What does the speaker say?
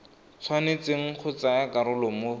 tshwanetseng go tsaya karolo mo